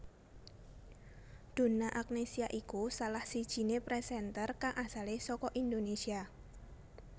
Donna Agnesia iku salah sijiné presenter kang asale saka Indonésia